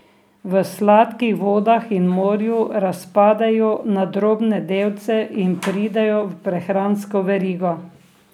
V sladkih vodah in morju razpadejo na drobne delce in pridejo v prehransko verigo.